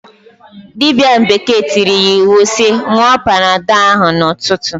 Dibia bekee tiiri ya iwu si, "nwụọ panadọl ahụ 'ụtụtụ!"